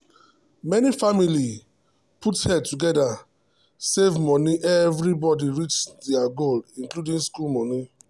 the whole family put head together save make everybody reach their goal including school money.